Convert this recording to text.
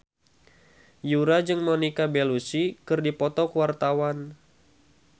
Yura jeung Monica Belluci keur dipoto ku wartawan